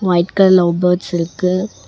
White colour love birds இருக்கு.